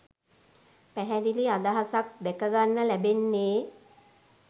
පැහැදිලි අහසක් දැකගන්න ලැබෙන්නේ.